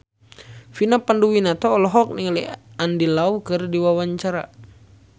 Vina Panduwinata olohok ningali Andy Lau keur diwawancara